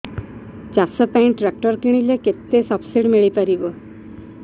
ଚାଷ ପାଇଁ ଟ୍ରାକ୍ଟର କିଣିଲେ କେତେ ସବ୍ସିଡି ମିଳିପାରିବ